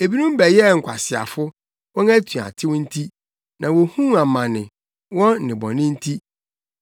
Ebinom bɛyɛɛ nkwaseafo, wɔn atuatew nti, na wohuu amane, wɔn nnebɔne nti.